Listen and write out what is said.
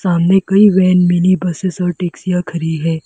सामने कई van mini buses और टैक्सीयां खड़ी हैं।